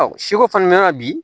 Ɔ seko fana mana bi